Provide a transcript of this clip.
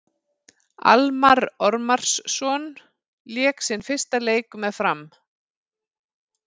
Almarr Ormarsson lék sinn fyrsta leik með Fram.